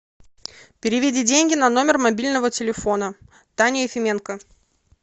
переведи деньги на номер мобильного телефона таня ефименко